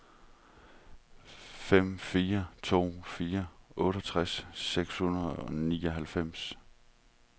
fem fire to fire otteogtres seks hundrede og nioghalvfems